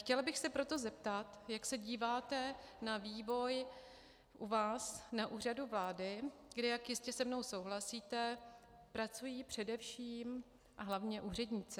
Chtěla bych se proto zeptat, jak se díváte na vývoj u vás na Úřadu vlády, kde, jak jistě se mnou souhlasíte, pracují především a hlavně úředníci.